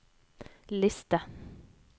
liste